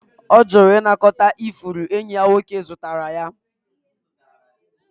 Ọ jụrụ ịnakọta ifuru enyi ya nwoke zụtara ya